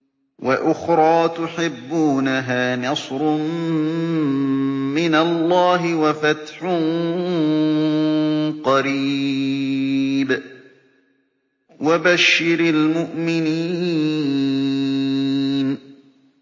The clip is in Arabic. وَأُخْرَىٰ تُحِبُّونَهَا ۖ نَصْرٌ مِّنَ اللَّهِ وَفَتْحٌ قَرِيبٌ ۗ وَبَشِّرِ الْمُؤْمِنِينَ